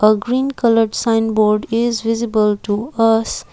green coloured sign board is visible to us.